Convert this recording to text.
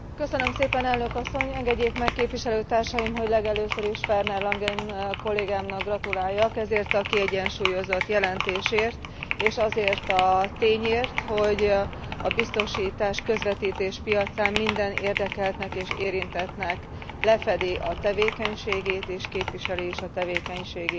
Engedjék meg képviselőtársaim, hogy legelőször is Werner Langen kollégámnak gratuláljak ezért a kiegyensúlyozott jelentésért, és azért a tényért, hogy a biztosításközvetítés piacán minden érdekeltnek és érintettnek lefedi a tevékenységét, és képviseli is a tevékenységét a jelentésében.